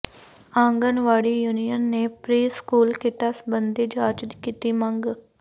anganwadi union ਨੇ pre school ਕਿੱਟਾਂ ਸਬੰਧੀ ਜਾਂਚ ਦੀ ਕੀਤੀ ਮੰਗ